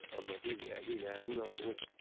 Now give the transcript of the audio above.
Amma dil əli ilə ərinin ağzını tutdu.